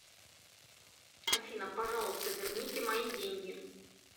афина пожалуйста верните мои деньги